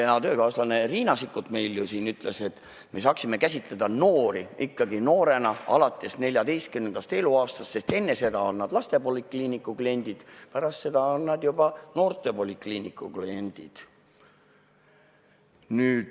Hea töökaaslane Riina Sikkut meil ütles, et me saaksime noort käsitada ikkagi noorena alates 14. eluaastast, enne seda on ta lastepolikliiniku klient, pärast seda on ta noortepolikliiniku klient.